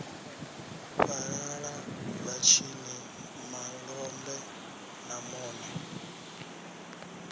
fhalala vhatshini malombe na mune